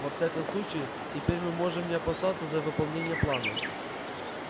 во всяком случае теперь мы можем не опасаться за выполнение плана